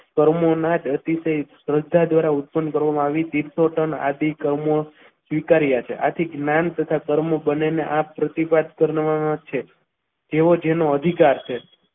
કર્મોના ધરતી સહિત દ્વારા ઓપન કરવામાં આવી તીર્થો પણ આદિ કર્મમાં સ્વીકાર્યા છે આથી જ્ઞાન તથા કર્મો બંનેને આ પ્રતિભા જ કરવાના છે તેઓ જેનો અધિકાર છે.